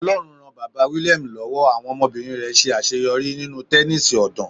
Ọlọ́run ran Bàbá William lọ́wọ́, àwọn ọmọbìnrin rẹ̀ ṣe àṣeyọrí nínú Tẹnísì ọ̀dàn.